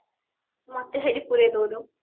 ମତେ ସେଠି ପୁରେଇ ଦଉନୁ